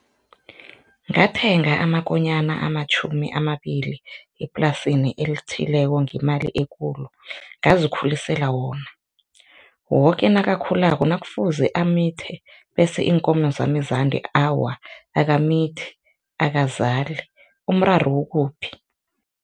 Ngathenga amakonyana amatjhumi amabili eplasini elithileko ngemali ekulu, ngazikhulisela wona, woke nakakhulako nakufuze amithe bese iinkomo zami zande awa, akamithi akazali, umraro ukuphi?